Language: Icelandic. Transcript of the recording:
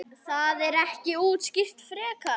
Það er ekki útskýrt frekar.